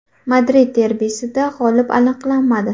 Madrid derbisida g‘olib aniqlanmadi.